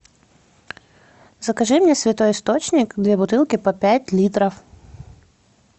закажи мне святой источник две бутылки по пять литров